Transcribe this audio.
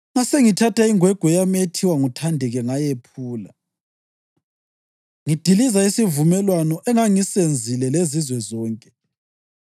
Ngasengithatha ingwegwe yami ethiwa nguThandeka ngayephula, ngidiliza isivumelwano engangisenzile lezizwe zonke.